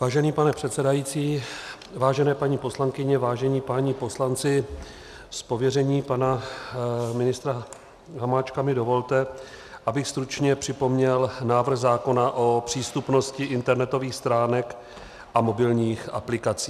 Vážený pane předsedající, vážené paní poslankyně, vážení páni poslanci, z pověření pana ministra Hamáčka mi dovolte, abych stručně připomněl návrh zákona o přístupnosti internetových stránek a mobilních aplikací.